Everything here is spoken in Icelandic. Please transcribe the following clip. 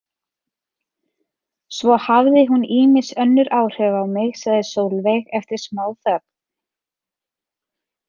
Svo hafði hún ýmis önnur áhrif á mig, sagði Sólveig eftir smáþögn.